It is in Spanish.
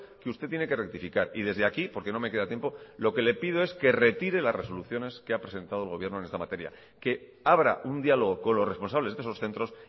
que usted tiene que rectificar y desde aquí porque no me queda tiempo lo que le pido es que retire las resoluciones que ha presentado el gobierno en esta materia que abra un diálogo con los responsables de esos centros